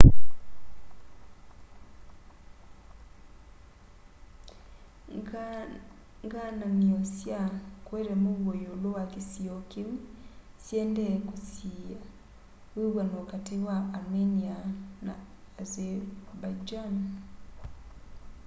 ngaananio sya kueta muuo iulu wa kisio kiu syiendee kusiiya wiw'ano kati wa armenia na azerbaijan